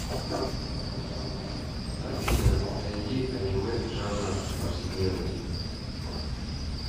афина найди анимэ жанра повседневность